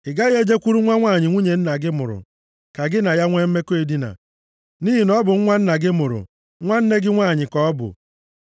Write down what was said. “ ‘Ị gaghị e jekwuru nwa nwanyị nwunye nna gị mụrụ, ka gị na ya nwe mmekọ edina, nʼihi na ọ bụ nwa nna gị mụrụ; nwanne gị nwanyị ka ọ bụ.